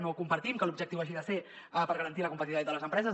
no compartim que l’objectiu hagi de ser per garantir la competitivitat de les empreses